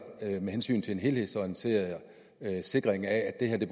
af hensyn til en helhedsorienteret sikring af at det